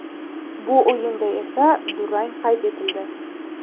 Bu o‘yinda esa durang qayd etildi.